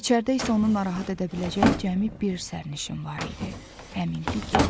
İçəridə isə onu narahat edə biləcək cəmi bir sərnişin var idi, həmin ki gənc.